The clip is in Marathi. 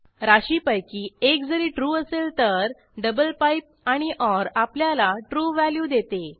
राशींपैकी एक जरी ट्रू असेल तर डबल पाइप आणि ओर आपल्याला ट्रू व्हॅल्यू देते